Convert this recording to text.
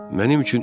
ayaqla gedərəm.